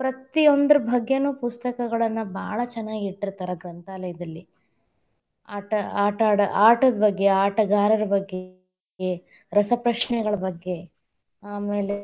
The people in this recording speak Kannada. ಪ್ರತಿಯೊಂದರ ಬಗ್ಗೆನು ಪುಸ್ತಕಗಳನ್ನ ಭಾಳ ಚನ್ನಾಗಿಟ್ಟಿರತಾರ ಗ್ರಂಥಾಲಯದಲ್ಲಿ, ಆಟ~ ಆಟಾಡ, ಆಟದ್‌ ಬಗ್ಗೆ, ಆಟಗಾರರ ಬಗ್ಗೆ, ರಸಪ್ರಶ್ನೆಗಳ ಬಗ್ಗೆ, ಆಮೇಲೆ